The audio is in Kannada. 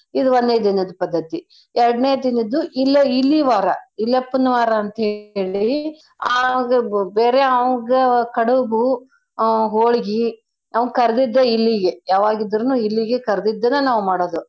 ಇದ್ ಒಂದ್ನೇ ದಿನದ್ ಪದ್ದತಿ. ಎರ್ಡನೇ ದಿನದ್ದು ಇಲೆ ಇಲಿ ವಾರ ಇಲೆಪ್ಪನ್ ವಾರ ಅಂತ್ಹೇಳಿ ಅವ್ಂಗ ಬೇರೆ ಅವ್ಂಗ ಕಡುಬೂ ಆ ಹೋಳ್ಗೀ ಆ ಕರ್ದಿದ್ದ ಇಲಿಗೆ ಯಾವಾಗಿದ್ರುನೂ ಇಲಿಗೆ ಕರ್ದಿದ್ದನ ನಾವ್ ಮಾಡೋದು.